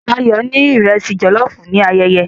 Layo ni iresi jollof ni ayẹyẹ